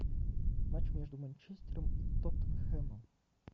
матч между манчестером и тоттенхэмом